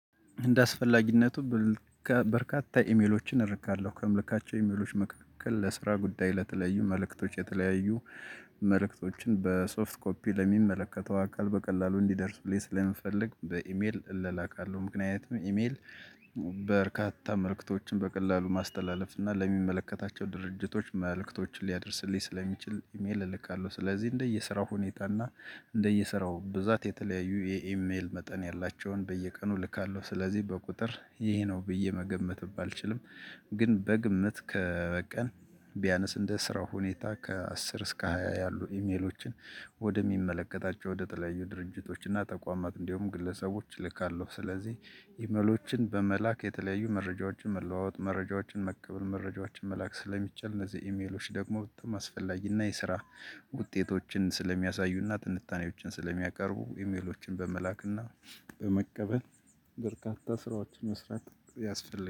እንደ አስፈላጊነቱ በርካታ ኢሜሎችን አረጋለሁ ከምልካቸው ኢሜሎች መካከል ለስራ ጉዳይ ለተለዩ መልእክቶች የተለያዩ መልእክቶችን በሶፍት ኮፒ ለሚመለከተው አካል በቀላሉ እንዲደርሱልይ ስለመፈለግ በኢሜል እላላካለሁ። ምክንያቱም ኢሜል በርካታ መልእክቶችን በቀላሉ ማስተላለፍ እና ለሚመለከታቸው ድርጅቶች መልእክቶችን ሊያደርስልኝ ስለሚችል ኢሜል እልካለሁ። ስለዚህ እንደየስራው ሁኔታ እና እንደየስራው ብዛት የተለያዩ የኢሜል መጠን ያላቸውን በየቀኑ ልካለሁ። ስለዚህ በቁጥር ይሄ ነው ብዬ መገመትም ባልችልም። ግን በግምት ከ በቀን ቢያነስ እንደ ስራው ሁኔታ ከአስር እስከ ሃያ ያሉ ኢሜሎችን። ወደሚመለከታቸው ወደተለያዩ ድርጅቶች እና ተቋማት እንዲሁም ግለሰቦች እልካለሁ። ስለዚህ ኢመሎችን በመላክ የተለያዩ መረጃዎችን መለዋወጥ መረጃዎችን መቀበል መረጃዎችን መላክ ስለሚቻል እነዚህ ኢሜሎች ደግሞ በጣም አስፈላጊ እና የስራ ውጤቶችን ስለሚያሳዩና ትንታኔዎችን ስለሚያቀርቡ ኢሜሎችን በመላክና በመቀበል በርካታ ስራዎችን መስራት ያስፈልጋል